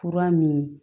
Fura min ye